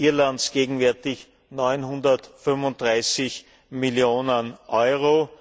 Irlands gegenwärtig 935 Millionen Euro.